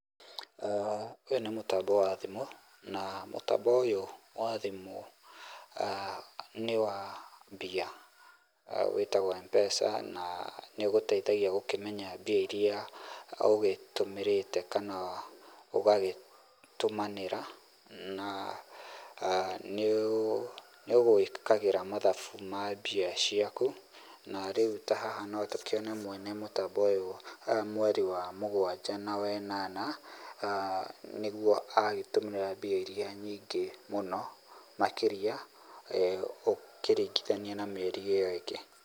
Ũyũ nĩ mũtambo wa thimũ na mũtambo ũyũ wa thimũ, nĩ wa mbia, wĩtagwo M-Pesa na nĩũgũteithagia gũkĩmenya mbia iria ũgĩtũmĩrĩte kana ũgagĩtũmanĩra na nĩũgũĩkagĩra mathabu ma mbia ciaku, na rĩu ta haha no tũkĩone mwene mũtambo ũyũ mweri wa mũgwanja na wa ĩnana nĩguo agĩtũmĩra mbia iria nyingĩ mũno makĩria, ũkĩringithania na mĩeri ĩyo ĩngĩ.